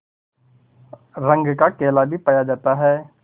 रंग का केला भी पाया जाता है